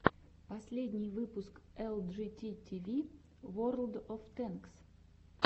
последний выпуск элджити тиви ворлд оф тэнкс